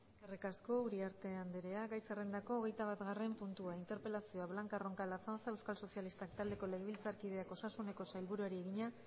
eskerrik asko uriarte andrea gai zerrendako hogeita bigarren puntua interpelazioa blanca roncal azanza euskal sozialistak taldeko legebiltzarkideak osasuneko sailburuari egina